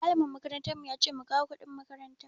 Malamin makarantar mu yace mu kawo kuɗin makaranta.